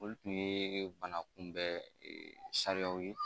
Olu tun ye bana kunbɛ sariyaw ye